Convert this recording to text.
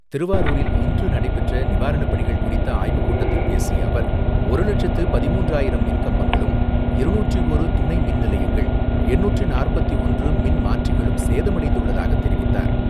திருவாரூரில் இன்று நடைபெற்ற நிவாரணப்பணிகள் குறித்த ஆய்வுக்கூட்டத்தில் பேசிய அவர், ஒரு லட்சத்து பதிமூன்றாயிரம் மின் கம்பங்களும், இருநூற்று ஒன்று துணை மின் நிலையங்கள், எண்ணூற்று நாற்பத்து ஒன்று மின் மாற்றிகளும் சேதமடைந்துள்ளதாக தெரிவித்தார்.